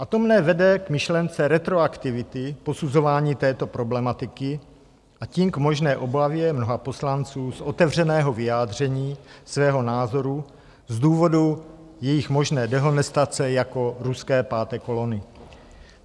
A to mne vede k myšlence retroaktivity posuzování této problematiky, a tím k možné obavě mnoha poslanců z otevřeného vyjádření svého názoru z důvodu jejich možné dehonestace jako ruské páté kolony.